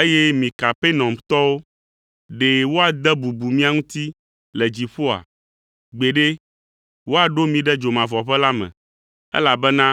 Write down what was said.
Eye mi Kapernaumtɔwo, ɖe woade bubu mia ŋuti le dziƒoa? Gbeɖe, woaɖo mi ɖe dzomavɔʋe la me, elabena